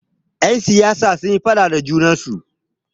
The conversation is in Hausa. Yan siyasa sunyi faɗa da junansu.